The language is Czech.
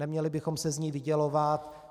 Neměli bychom se z ní vydělovat.